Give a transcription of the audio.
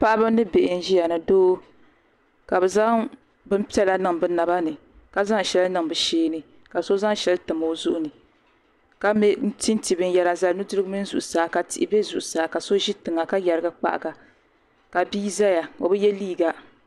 Paɣiba ni bihi n-ʒiya ni doo ka bɛ zaŋ bini piɛla niŋ bɛ naba ni ka zaŋ shɛli niŋ bɛ shee ni ka so zaŋ shɛli tam o zuɣu ni ka tinti binyɛra zali nudirigu mini zuɣusaa ka tihi be zuɣusaa ka so ʒi tiŋa ka yarigi kpahiga ka bi zaya o bi ye liiga.